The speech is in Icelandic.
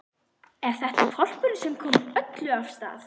Og er þetta hvolpurinn sem kom öllu af stað?